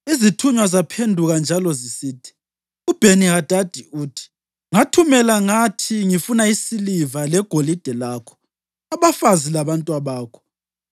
Izithunywa zaphenduka njalo zisithi, “UBheni-Hadadi uthi: ‘Ngathumela ngathi ngifuna isiliva legolide lakho, abafazi labantwabakho.